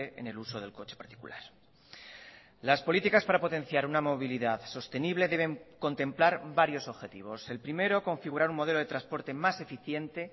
en el uso del coche particular las políticas para potenciar una movilidad sostenible deben contemplar varios objetivos el primero configurar un modelo de transporte más eficiente